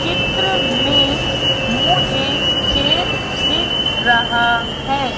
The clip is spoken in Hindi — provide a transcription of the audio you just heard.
चित्र में मुझे खेत दिख रहा है।